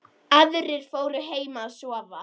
Aðrir fóru heim að sofa.